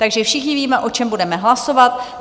Takže všichni víme, o čem budeme hlasovat.